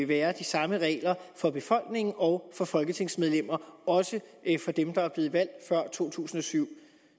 være de samme regler for befolkning og for folketingsmedlemmer også dem der er blevet valgt før to tusind og syv